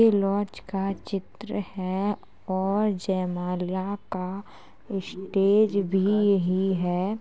ये लॉज का चित्र है और जैमाला का स्टेज भी यही है |